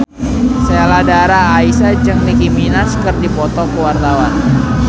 Sheila Dara Aisha jeung Nicky Minaj keur dipoto ku wartawan